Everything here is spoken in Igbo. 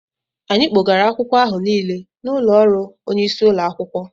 Anyị kpògara akwụkwọ áhù Nile n'ụlọ ọrụ onye isi ụlọ akwụkwọ